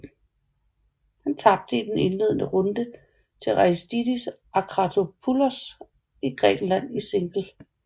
Han tabte i den indledende runde til Aristidis Akratopoulos fra Grækenland i single